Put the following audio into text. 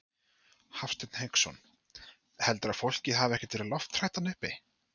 Hafsteinn Hauksson: Heldurðu að fólkið hafi ekkert verið lofthrætt þarna uppi?